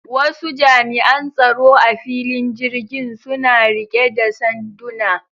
Wasu jami'an tsaro a filin jirgin suna rike da sanduna.